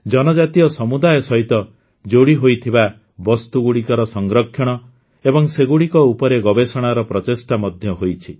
ଜନଜାତୀୟ ସମୁଦାୟ ସହିତ ଯୋଡ଼ିହୋଇଥିବା ବସ୍ତୁଗୁଡ଼ିକର ସଂରକ୍ଷଣ ଏବଂ ସେଗୁଡ଼ିକ ଉପରେ ଗବେଷଣାର ପ୍ରଚେଷ୍ଟା ମଧ୍ୟ ହୋଇଛି